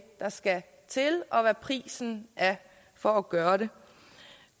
der skal til og hvad prisen er for at gøre det